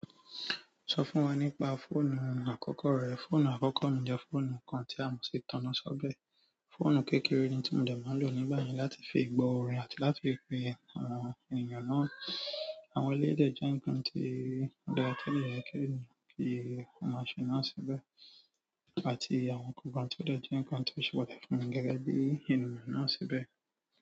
Sọ fún wa nípa fóònù àkọ́kọ́ rẹ. Fóònù àkọ́kọ́ mi jẹ́ fóònù kan tí a mú sí tànná sọ́be. Fóònù kékeré ni tí mo dà máa ń lò nígbà yẹn láti fi gbọ́ orin àti láti fi pe àwọn ènìyàn náà. Àwọn elédè jẹ́ nǹkan tí ó dàra tio de yi ènìyàn kí o máa ṣe náà síbẹ̀ àti àwọn nkankan ti o de jẹ́ nǹkan tí ó ṣe pàtàkì fún gẹ́gẹ́ bí ènìyàn náà síbẹ̀.